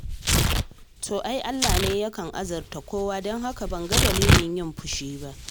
To ai Allah ne yake azurta kowa don haka ban ga dalilin fushi ba.